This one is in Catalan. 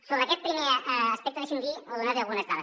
sobre aquest primer aspecte deixi’m dir o donar li algunes dades